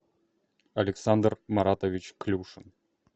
александр маратович крюшин